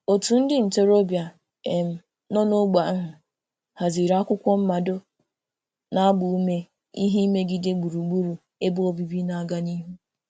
Otu ndị ntorobịa um nọ n'ógbè ahụ haziri akwụkwọ mmado na-agba ume ime ihe megide gburugburu ebe obibi na-aga n'ihu.